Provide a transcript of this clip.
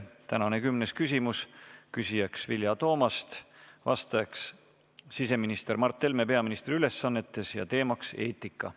Tänane kümnes küsimus: küsija on Vilja Toomast, vastaja siseminister Mart Helme peaministri ülesannetes, teemaks on eetika.